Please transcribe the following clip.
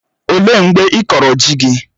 Ọ léé mgbe ịkọrọ ji gị?